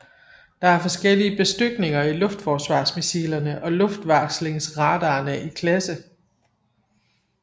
Der er forskellige bestykninger i luftforsvarsmissilerne og luftvarslingsradarerne i klasse